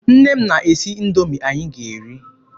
Nne m na-esi Indoomi anyị ga eri.